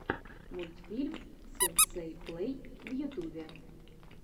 мультфильм сенсей плей в ютубе